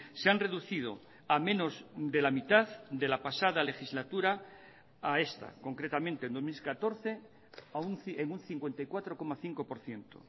se han reducido a menos de la mitad de la pasada legislatura a esta concretamente en dos mil catorce en un cincuenta y cuatro coma cinco por ciento